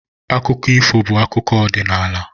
Akụkọ ifo bụ akụkọ ọdịnala.